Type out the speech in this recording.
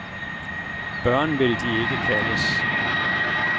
Børn, vil de ikke kaldes.